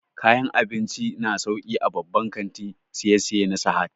Kayan abinci su na sauƙi a babban kantin siyayya na Sahad